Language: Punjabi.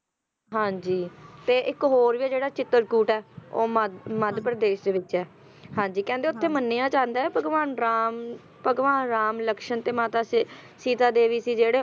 ਹਾਂ ਜੀ ਤੇ ਇੱਕ ਹੋਰ ਵੀ ਜਿਹੜਾ ਚਿਤਰਕੂਟ ਆ ਉਹ ਮੱਧ ਮੱਧ ਪ੍ਰਦੇਸ਼ ਦੇ ਵਿੱਚ ਹੈ, ਹਾਂ ਜੀ ਕਹਿੰਦੇ ਤੇ ਉੱਥੇ ਮੰਨਿਆ ਜਾਂਦਾ ਏ ਭਗਵਾਨ ਰਾਮ, ਭਗਵਾਨ ਰਾਮ, ਲਕਸ਼ਮਣ ਤੇ ਮਾਤਾ ਸੀਤਾ ਦੇਵੀ ਸੀ ਜਿਹੜੇ